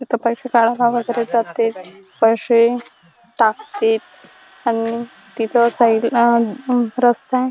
इथ पैशे काढाला वगैरे जाते पैशे टाकतेत अन तिथं साईड अ अ म रस्ताय.